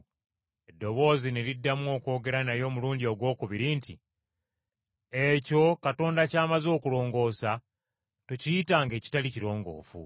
Eddoboozi ne liddamu okwogera naye omulundi ogwokubiri nti, “Ekyo Katonda ky’amaze okulongoosa tokiyitanga ekitali kirongoofu.”